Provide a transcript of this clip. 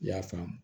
I y'a faamu